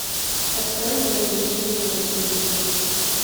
открой мир увлечений на телевизоре